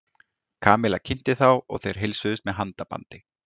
Kamilla kynnti þá og þeir heilsuðust með handabandi.